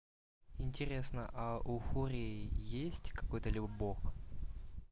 интересно а у фурии есть какой-то бог